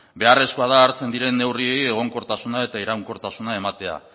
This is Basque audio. beharrezkoa da hartzen diren neurriei egonkortasuna eta iraunkortasuna ematea